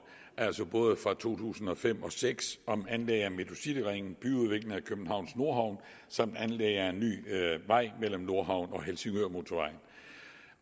altså både fra to tusind og fem og seks om anlæg af metrocityringen byudvikling af københavns nordhavn samt anlæg af en ny vej mellem nordhavn og helsingørmotorvejen